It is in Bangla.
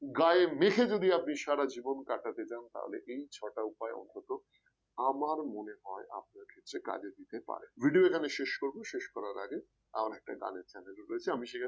গায়ে মেখে যদি আপনি সারা জীবন কাটাতে চান তাহলে এই ছটা উপায় অন্তত আমার মনে হয় আপনার ক্ষেত্রে কাজে দিতে পারে, video এখানে শেষ করব শেষ করার আগে আমার একটা গানের channel রয়েছে আমি সেখানে